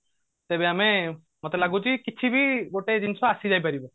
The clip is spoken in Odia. ତେବେ ଆମେ ମତେ ଲାଗୁଛି କିଛି ବି ଗୋଟେ ଜିନିଷ ଆସି ଯାଇ ପାରିବ